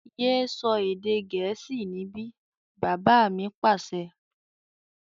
Yé sọ èdè gẹ̀ẹ́sì níbí! Bàbá mi Pàṣẹ.